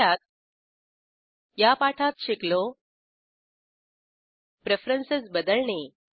थोडक्यात या पाठात शिकलो प्रेफरेन्सेस बदलणे